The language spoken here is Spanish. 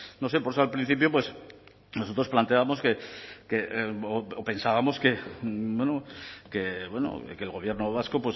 no sé por eso al principio pues nosotros planteábamos que o pensábamos que bueno que el gobierno vasco